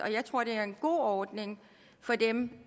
jeg tror det er en god ordning for dem